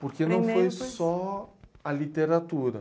Porque não foi só a literatura.